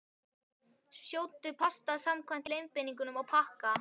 Sjóddu pastað samkvæmt leiðbeiningum á pakka.